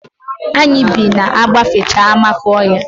Anyị bi ma agbafecha Amakọhịa.